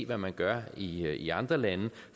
hvad man gør i i andre lande